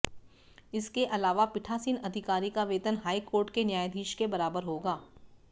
इसके अलावा पीठासीन अधिकारी का वेतन हाईकोर्ट के न्यायाधीश के बराबर होगा